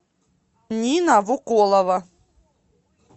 нина вуколова